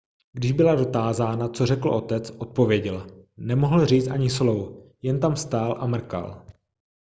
když byla dotázána co řekl otec odpověděla nemohl říct ani slovo jen tam stál a mrkal